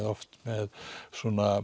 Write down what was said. oft með svona